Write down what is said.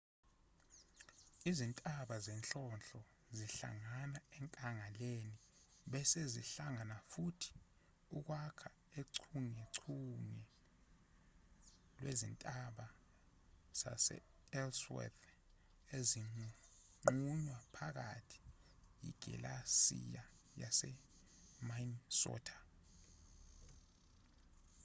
izintaba zenhlonhlo zihlangana enkangaleni bese zihlangana futhi ukwakha uchungechunge lwezintaba sase-ellsworth ezinqunywa phakathi yigilesiya yase-minnesota